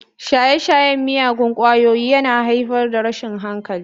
Shaye-shayen miyagun ƙwayoyi yana haifar da rashin hankali.